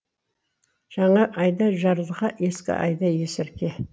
жаңа айда жарылқа ескі айда есірке